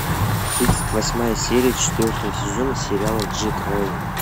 тридцать восьмая серия четвертого сезона сериала джек райан